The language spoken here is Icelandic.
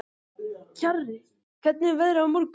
Kjarri, hvernig er veðrið á morgun?